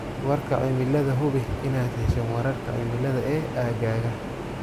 Warka Cimilada Hubi inaad hesho wararka cimilada ee aaggaaga.